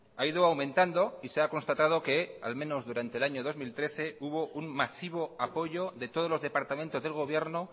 ha ido aumentando y se ha constatado que al menos durante el año dos mil trece hubo un masivo apoyo de todos los departamentos del gobierno